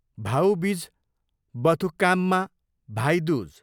भाउ बिज बथुकाममा, भाइ दुज